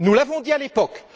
Nous l'avons dit à l'époque.